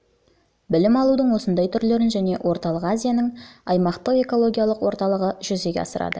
білім алудың осындай түрлерін және орталық азияның аймақтық экологиялық орталығы жүзеге асырады